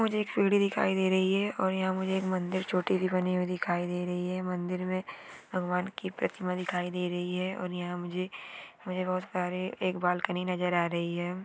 मुझे एक सीडी दिखाय दे रही है और मुझे याह एक मंदिर छोटी बनी हुई दिखाय दे रही है मंदिर में भगवान की प्रतिमा दिखाय दे रही है और यहाँ मुझे बहुत प्यारे एक बालकनी नजर आ रही है।